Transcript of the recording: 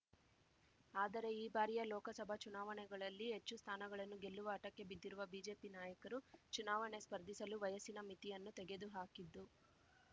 ಆದರೆ ಈ ಬಾರಿಯ ಲೋಕಸಭಾ ಚುನಾವಣೆಗಳಲ್ಲಿ ಹೆಚ್ಚು ಸ್ಥಾನಗಳನ್ನು ಗೆಲ್ಲುವ ಹಠಕ್ಕೆ ಬಿದ್ದಿರುವ ಬಿಜೆಪಿ ನಾಯಕರು ಚುನಾವಣೆ ಸ್ಪರ್ಧಿಸಲು ವಯಸ್ಸಿನ ಮಿತಿಯನ್ನು ತೆಗೆದು ಹಾಕಿದ್ದು